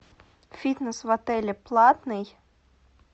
фитнес в отеле платный